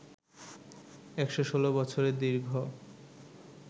১১৬ বছরের দীর্ঘ